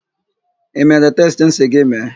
I mere testị m sị gị mee?